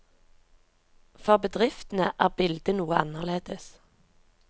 For bedriftene er bildet noe annerledes.